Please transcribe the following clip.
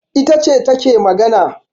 Ita ce take magana